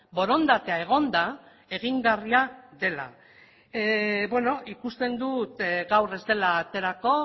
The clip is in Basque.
borondatea egonda egingarria dela ikusten dut gaur ez dela aterako